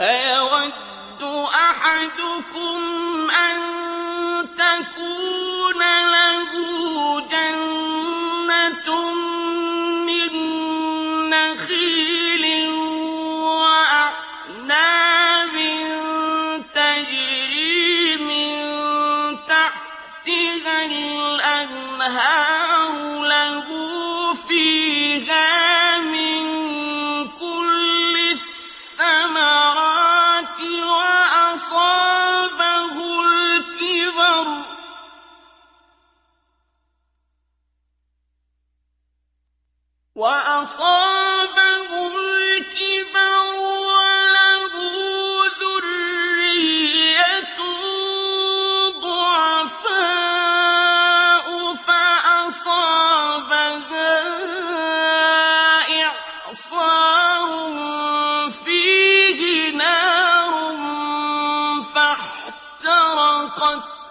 أَيَوَدُّ أَحَدُكُمْ أَن تَكُونَ لَهُ جَنَّةٌ مِّن نَّخِيلٍ وَأَعْنَابٍ تَجْرِي مِن تَحْتِهَا الْأَنْهَارُ لَهُ فِيهَا مِن كُلِّ الثَّمَرَاتِ وَأَصَابَهُ الْكِبَرُ وَلَهُ ذُرِّيَّةٌ ضُعَفَاءُ فَأَصَابَهَا إِعْصَارٌ فِيهِ نَارٌ فَاحْتَرَقَتْ ۗ